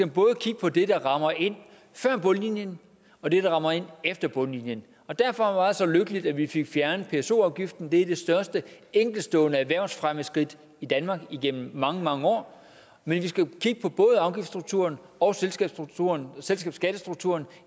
både kigge på det der rammer ind før bundlinjen og det der rammer ind efter bundlinjen derfor var det så lykkeligt at vi fik fjernet pso afgiften det er det største enkeltstående erhvervsfremmeskridt i danmark igennem mange mange år men vi skal kigge på både afgiftsstrukturen og selskabsskattestrukturen